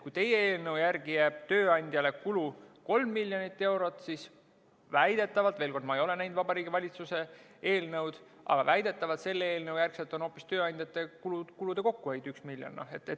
Kui teie eelnõu järgi jääb tööandjale kulu 3 miljonit eurot, siis väidetavalt on Vabariigi Valitsuse eelnõu järgi – veel kord, ma ei ole seda näinud – tööandjatel hoopis kulude kokkuhoid 1 miljon.